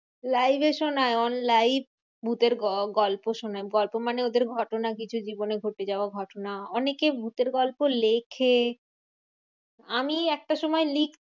Live এ শোনায়। on live ভুতের গ~ গল্প শোনায়। গল্প মানে ওদের ঘটনা কিছু জীবনে ঘটে যাওয়া ঘটনা। অনেকে ভুতের গল্প লেখে। আমি একটা সময় লিখ